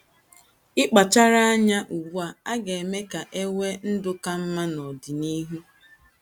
Ịkpachara anya ugbu a ga - eme ka e nwee ndụ ka mma n’ọdịnihu.